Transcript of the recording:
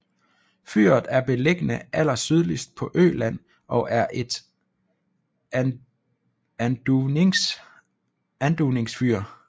Fyret er beliggende allersydligst på Øland og er et anduvningsfyr